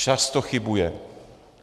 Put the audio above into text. Často chybuje.